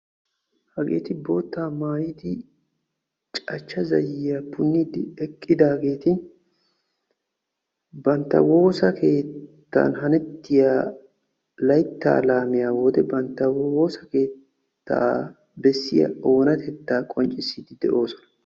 Hageetti bootta maayiddi cachcha zayiya punniddi bantta woosa keettan haniya oonatetta besoosonna.